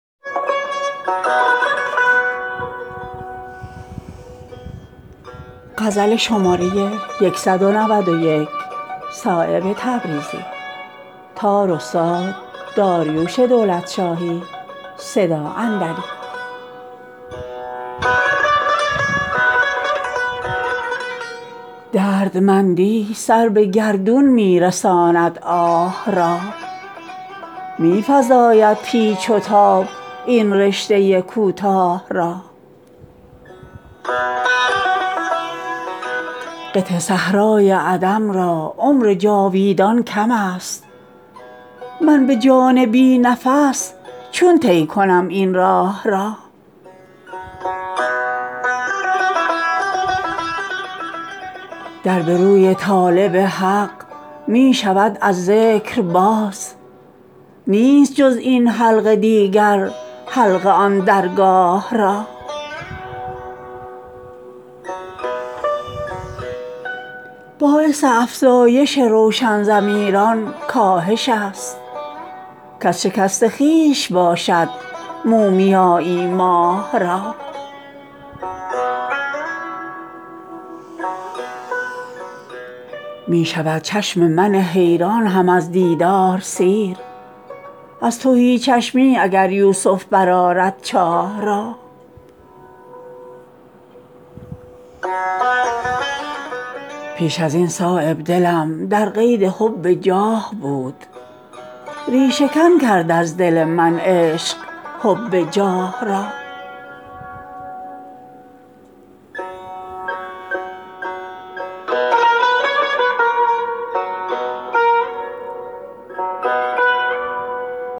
دردمندی سر به گردون می رساند آه را می فزاید پیچ و تاب این رشته کوتاه را قطع صحرای عدم را عمر جاویدان کم است من به جان بی نفس چون طی کنم این راه را در به روی طالب حق می شود از ذکر باز نیست جز این حلقه دیگر حلقه آن درگاه را باعث افزایش روشن ضمیران کاهش است کز شکست خویش باشد مومیایی ماه را می شود چشم من حیران هم از دیدار سیر از تهی چشمی اگر یوسف برآرد چاه را پیش ازین صایب دلم در قید حب جاه بود ریشه کن کرد از دل من عشق حب جاه را